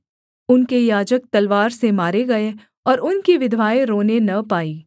उनके याजक तलवार से मारे गए और उनकी विधवाएँ रोने न पाई